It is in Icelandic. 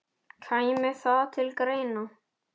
Kæmi það til greina?